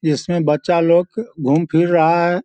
इसमें बच्चा लोग घूम फिर रहा है।